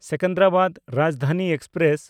Secunderabad Rajdhani express